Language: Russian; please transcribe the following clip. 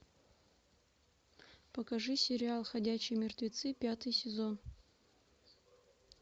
покажи сериал ходячие мертвецы пятый сезон